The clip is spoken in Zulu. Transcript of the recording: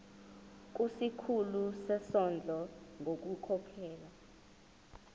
kusikhulu sezondlo ngokukhokhela